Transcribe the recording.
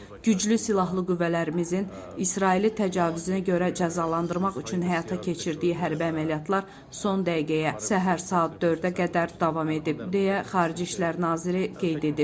Güclü silahlı qüvvələrimizin İsraili təcavüzünə görə cəzalandırmaq üçün həyata keçirdiyi hərbi əməliyyatlar son dəqiqəyə, səhər saat 4-ə qədər davam edib, deyə xarici İşlər naziri qeyd edib.